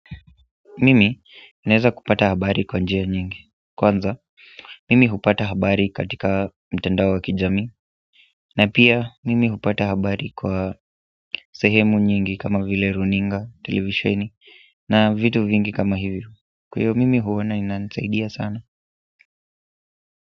Mimi naeza kupata habari kwa njia nyingi kwanza, mimi hupata habari katika mitandao ya kijamii na pia, mimi hupata habari kwa sehemu nyingi kama vile runinga, televisheni na vitu vingi kama hivyo. Kwa hivyo, mimi huona inanisaidia sana.